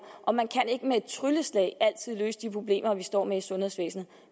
og man kan ikke med et trylleslag altid løse de problemer vi står med i sundhedsvæsenet